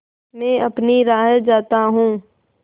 मैं अपनी राह जाता हूँ